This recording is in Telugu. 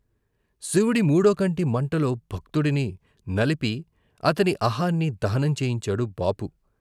శివుడి మూడోకంటి మంటలో భక్తుడిని నలిపి అతని అహాన్ని దహనం చేయించాడు బాపు.